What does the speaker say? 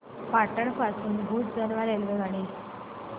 पाटण पासून भुज दरम्यान रेल्वेगाडी